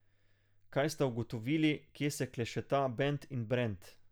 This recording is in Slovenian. Kaj sta ugotovili, kje se klešeta bend in brend?